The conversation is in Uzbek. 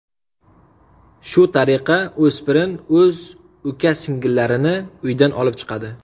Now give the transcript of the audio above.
Shu tariqa, o‘spirin o‘z uka-singillarini uydan olib chiqadi.